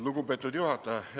Lugupeetud juhataja!